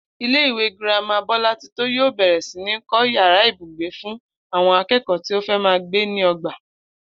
Ilé-ìwé girama Bó̩látitó yóò bè̩rè̩ sí ní kó̩ yàrá ibùgbé fún àwo̩n aké̩kò̩ó̩ tí ó fé̩ máa gbé ní o̩gbà